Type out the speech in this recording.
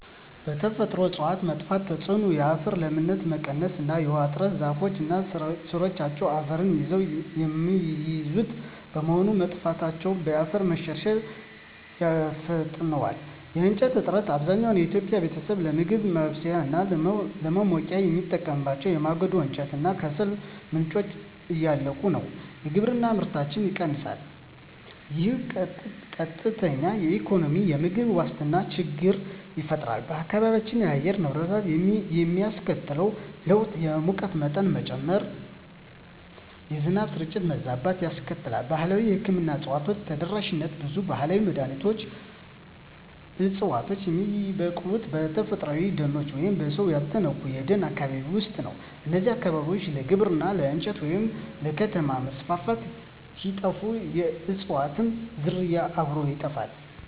የተፈጥሮ እፅዋት መጥፋት ተጽዕኖ የአፈር ለምነት መቀነስ እና የውሃ እጥረ ዛፎች እና ሥሮቻቸው አፈርን ይዘው የሚይዙት በመሆኑ፣ መጥፋታቸው የአፈር መሸርሸርን ያፋጥነዋል። የእንጨት እጥረት፣ አብዛኛው የኢትዮጵያ ቤተሰብ ለምግብ ማብሰያ እና ለማሞቂያ የሚጠቀምባቸው የማገዶ እንጨት እና ከሰል ምንጮች እያለቁ ነው። የግብርና ምርታማነት ይቀንሳል፣ ይህም ቀጥተኛ የኢኮኖሚና የምግብ ዋስትና ችግር ይፈጥራል። በአካባቢው የአየር ንብረት ላይ የሚያስከትለው ለውጥ የሙቀት መጠን መጨመር፣ የዝናብ ስርጭት መዛባት ያስከትላል። ባህላዊ የሕክምና እፅዋት ተደራሽነት ብዙ ባህላዊ መድኃኒት ዕፅዋት የሚበቅሉት በተፈጥሮአዊ ደኖች ወይም በሰው ያልተነኩ የደን አካባቢዎች ውስጥ ነው። እነዚህ አካባቢዎች ለግብርና፣ ለእንጨት ወይም ለከተማ መስፋፋት ሲጠፉ፣ የእፅዋቱም ዝርያ አብሮ ይጠፋል።